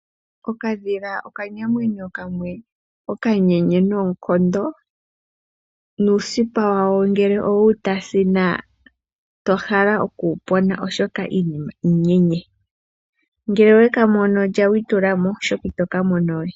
Okadhila okanamwenyo kamwe okanyenye noonkondo nuusipa wako ngele owewu tasina itahala okuwu pona oshoka iinima iinyenye, ngele oweka mono lya witulamo oshoka itoka mono we.